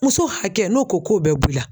Muso hakɛ n'o ko k'o bɛ b'i la